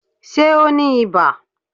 Ṣé o ní ibà?